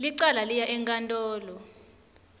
licala liya enkantolo